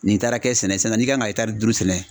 Nin taara kɛ sɛnɛ sisan n'i kan ka etari duuru sɛnɛ